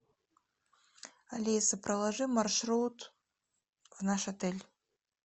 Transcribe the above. алиса проложи маршрут в наш отель